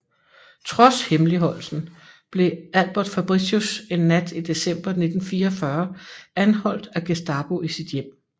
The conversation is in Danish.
Trods hemmeligholdelsen blev Albert Fabritius en nat i december 1944 anholdt af Gestapo i sit hjem